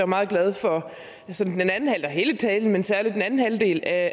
meget glad for hele talen men særlig den anden halvdel af